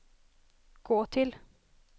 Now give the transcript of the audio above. gå till